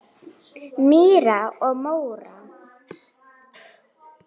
Mýrar og mór